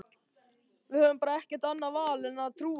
Við höfum bara ekkert annað val en að trúa því.